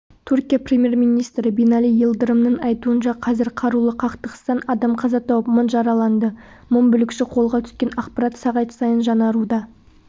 түркия премьер-министрі бинали йылдырымның айтуынша қазір қарулы қақтығыстан адам қаза тауып мың жараланды мың бүлікші қолға түскен ақпарат сағат сайын жаңаруда